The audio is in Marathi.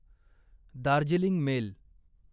दार्जिलिंग मेल